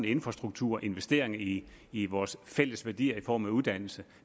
infrastruktur investeringer i i vores fælles værdier i form af uddannelse